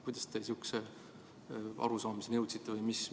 Kuidas te sihukese arusaamiseni jõudsite?